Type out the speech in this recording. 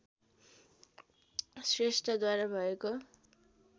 श्रेष्ठद्वारा भएको